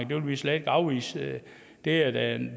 vil vi slet ikke afvise det er da